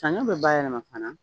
Saɲɔ bɛ bayɛlɛma fana